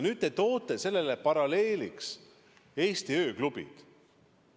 Nüüd te toote paralleeliks Eesti ööklubid.